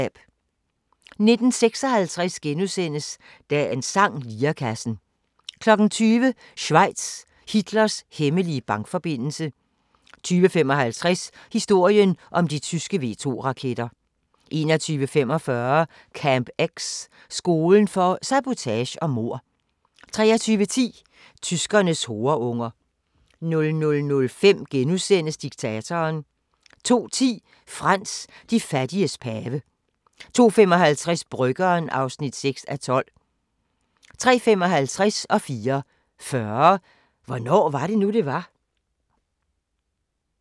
19:56: Dagens sang: Lirekassen * 20:00: Schweiz – Hitlers hemmelige bankforbindelse 20:55: Historien om de tyske V2-raketter 21:45: Camp X – skolen for sabotage og mord 23:10: Tyskernes horeunger 00:05: Diktatoren * 02:10: Frans: De fattiges pave 02:55: Bryggeren (6:12) 03:55: Hvornår var det nu, det var? 04:40: Hvornår var det nu, det var?